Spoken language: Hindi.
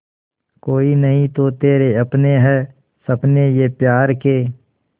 कोई नहीं तो तेरे अपने हैं सपने ये प्यार के